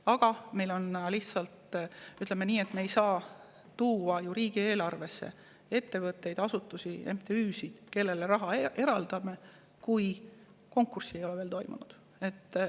Aga me ei saa panna riigieelarvesse ettevõtteid, asutusi, MTÜ-sid, kellele me raha eraldame, kui konkurssi ei ole veel toimunud.